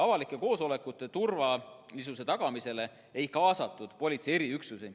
Avalike koosolekute turvalisuse tagamisele ei kaasatud politsei eriüksusi.